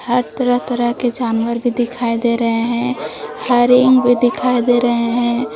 हर तरह-तरह के जानवर भी दिखाई दे रहे हैं हरिंग भी दिखाई दे रहे हैं।